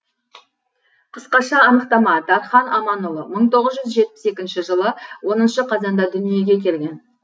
қысқаша анықтама дархан аманұлы мың тоғыз жүз жетпіс екінші жылы оныншы қазанда дүниеге келген